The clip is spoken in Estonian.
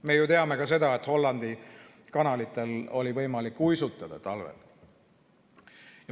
Me teame ka seda, et Hollandi kanalitel oli võimalik talvel uisutada.